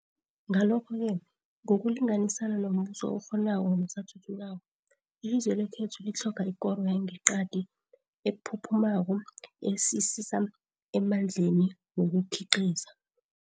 Ngalokho-ke ngokulinganisana nombuso okghonako nosathuthukako, ilizwe lekhethu litlhoga ikoro yangeqadi ephuphumako esisisa emandleni wokukhiqiza.